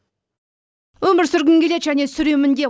өмір сүргім келеді және сүремін де